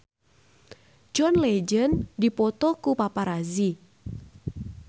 John Legend dipoto ku paparazi